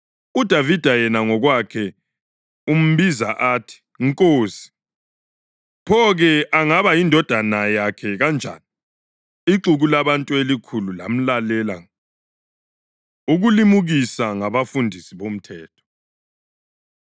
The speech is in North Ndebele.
UDavida yena ngokwakhe umbiza athi ‘Nkosi.’ Pho-ke angaba yindodana yakhe kanjani?” Ixuku labantu elikhulu lamlalela ngokuthokoza. Ukulimukisa NgabaFundisi BoMthetho